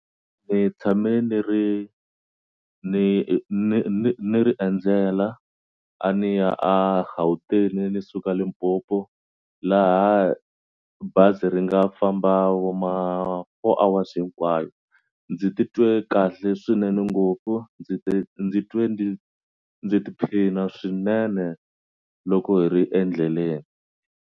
Tshame ni ri ni ni ni ni ri endzela a ni ya a Gauteng ni suka Limpopo laha bazi ri nga famba vo ma four hours hinkwayo ndzi titwe kahle swinene ngopfu ndzi te ndzi twe ndzi ndzi tiphina swinene loko hi ri endleleni.